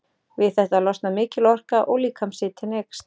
Við þetta losnar mikil orka og líkamshitinn eykst.